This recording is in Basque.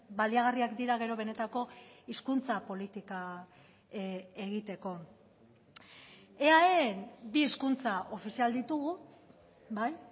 baliagarriak dira gero benetako hizkuntza politika egiteko eaen bi hizkuntza ofizial ditugu bai